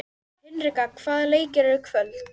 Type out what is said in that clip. Hinrikka, hvaða leikir eru í kvöld?